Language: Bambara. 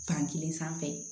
Fankelen sanfɛ